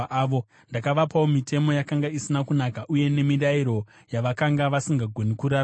Ndakavapawo mitemo yakanga isina kunaka uye nemirayiro yavakanga vasingagoni kurarama nayo,